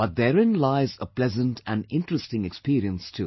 But therein lies a pleasant and interesting experience too